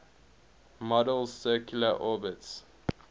model's circular orbits